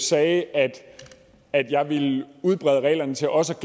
sagde at jeg ville udbrede reglerne til også